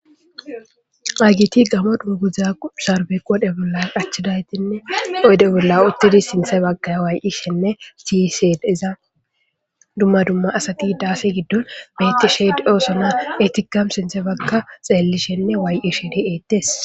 Hayisati gammo dunguza qodheni qachidageti oyide bolla utidi diyisa, duma duma assati dasse gido utidi betosona ettika sinthe bagga xelishene wayi'ishe dosona